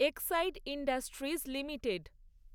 Exide Industries limited